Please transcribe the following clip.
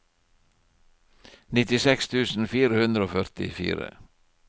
nittiseks tusen fire hundre og førtifire